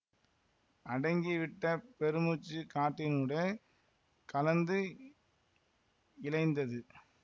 அடங்கிவிட்ட பெருமூச்சு காற்றினூடே கலந்து இழைந்தது